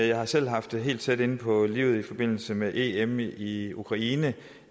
jeg har selv haft det helt tæt inde på livet i forbindelse med em i i ukraine